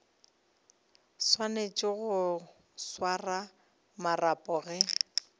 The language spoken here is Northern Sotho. swanetše go swara marapo ge